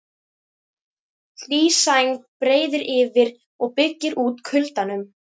Hlý sæng breiðir yfir og byggir út kuldanum.